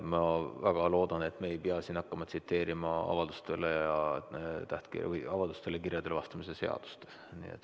Ma väga loodan, et me ei pea siin hakkama tsiteerima avaldustele ja kirjadele vastamise seadust.